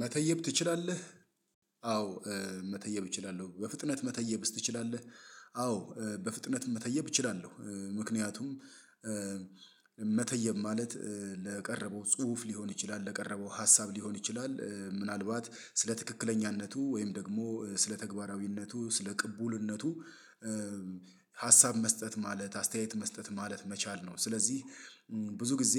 መተየብ ትችላለህ? አዎ መተየብ እችላለሁ በፍጥነት መተየብስ ትችላለህ አዎ በፍጥነት መተየብ እችላለሁ። ምክንያቱም መተየብ ማለት ለቀረበው ጽሁፍ ሊሆን ይችላል ለቀረበው ሀሳብ ሊሆን ይችላል ምናልባት ስለ ትክክለኛነቱ ወይም ደግሞ ስለ ተግባራዊነቱ ስለ ቅቡልነቱ ሀሳብ መስጠት ማለት አስተያየት መስጠት ማለት መቻል ነው። ስለዚህ ብዙ ጊዜ